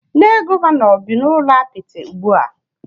Nne Gọvanọ bị n'ụlọ apịtị ugbua